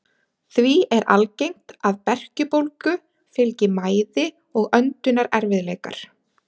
Því er algengt að berkjubólgu fylgi mæði og öndunarerfiðleikar.